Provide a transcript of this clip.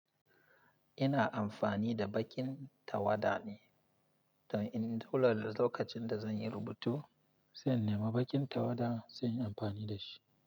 Ina amfani da baƙin tawada ne, to in dole da lokacin da zan yi rubutu, sai in nema baƙin tawada lsai in yi amfani da shi.